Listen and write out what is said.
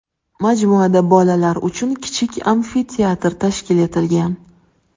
Majmuada bolalar uchun kichik amfiteatr tashkil etilgan.